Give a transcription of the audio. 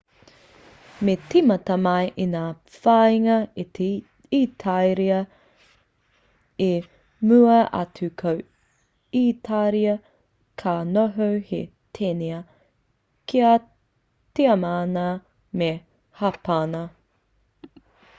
me tīmata mai i ngā whāinga a itāria i mua atu ko itāria ka noho hei teina ki a tiamana me hapāna